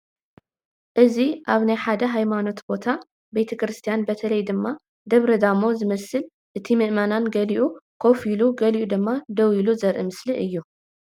እዚ አብ ሓደ ናይ ሃይማኖት ቦታ (ቤተ ክርስትያን) በተለይ ደግሞ ደብረ ዳሞ ዝመስል እቲ ምእመን ገሊኡ ኮፍ ኢሉ ገሊኡ ድማ ደው ኢሉ ዘርኢ ምስሊ እዩ።